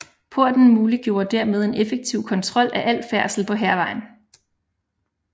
Porten muliggjorde dermed en effektiv kontrol af al færdsel på Hærvejen